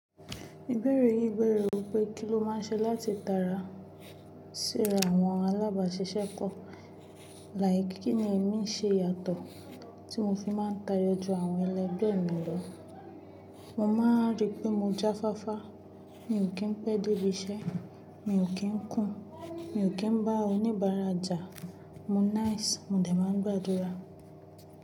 Ìbéèrè yí bẹ̀rẹ̀ wípé kí ló má n ṣe láti tara síra àwọn alábàáṣiṣẹ́ kọ́? Like, kinni ẹ̀mí n ṣe yàtọ̀ tí mo fi má n tayọ ju àwọn ẹlẹgbẹ́ mi lọ. Mo ma ríi pé mo jáfáfá, mi ò kín pẹ́ dé ibi iṣẹ́, mi ò kín kùn, mi ò kín bá oníbàárà jà, mo nice, mo dẹ̀ má n gbàdúrà.